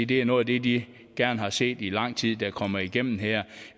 det er noget af det de gerne har set i lang tid der kommer igennem her